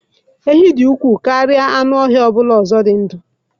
Enyí dị ukwuu karịa anụ ọhịa ọ bụla ọzọ dị ndụ.